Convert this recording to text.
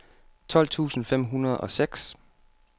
tolv tusind fem hundrede og seks